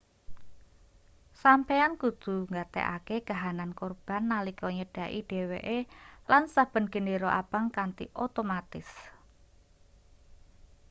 sampeyan kudu nggatekake kahanan korban nalika nyedhaki dheweke lan saben gendera abang kanthi otomatis